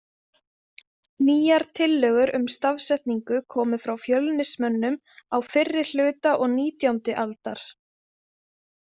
Nýjar tillögur um stafsetningu komu frá Fjölnismönnum á fyrri hluta og nítjándi aldar.